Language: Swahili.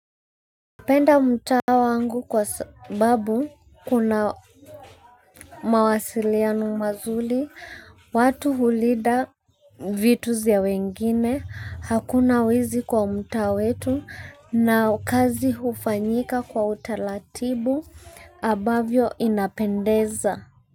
Penda mtaa wangu kwa sababu kuna mawasiliano mazuri watu hulinda vitu za wengine hakuna wezi kwa mtao wetu na kazi hufanyika kwa utaratibu ambavyo inapendeza.